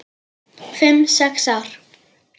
Fimm, sex ár?